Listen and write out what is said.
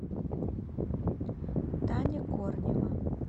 таня корнева